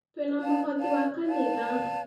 Twina mũhothi wa kanitha